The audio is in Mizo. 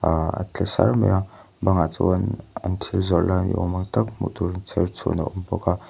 ahhh a tle sar mai a bangah chuan an thil zawrh lai ni awm ang tak hmuh tur in chherchhuan a awm bawk a.